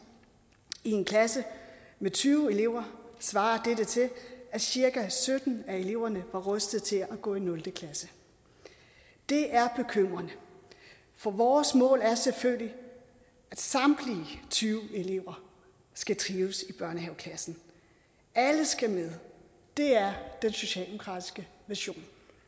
i en klasse med tyve elever svarer dette til at cirka sytten af eleverne var rustet til at gå i nul klasse det er bekymrende for vores mål er selvfølgelig at samtlige tyve elever skal trives i børnehaveklassen alle skal med det er den socialdemokratiske vision